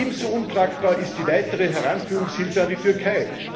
Ebenso untragbar ist die weitere Heranführungshilfe für die Türkei.